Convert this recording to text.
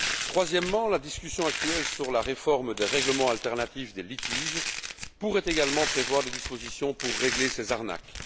Troisièmement, la discussion actuelle sur la réforme des règlements alternatifs des litiges pourrait également prévoir des dispositions pour régler ces arnaques.